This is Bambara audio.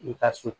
I ka so